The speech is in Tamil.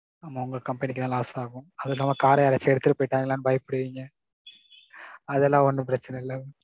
ஆமாம் உங்க company க்கு தான் loss ஆகும். அதும் இல்லாம car யாராச்சும் எடுத்துட்டு போயிட்டாங்களான்னு பயப்படுவீங்க. அதெல்லாம் ஒன்னும் பிரச்சனை இல்ல.